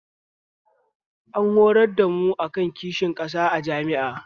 An horar da mu akan kishin ƙasa a jami'a